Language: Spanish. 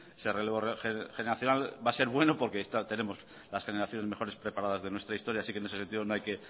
ese relevo generacional va a ser bueno porque tenemos las generaciones mejores preparadas de nuestra historia así que en ese sentido no hay que